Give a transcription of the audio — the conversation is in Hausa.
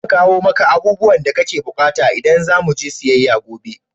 Zan kawo maka abubuwan da kake bukata idan za mu je siyayya gobe.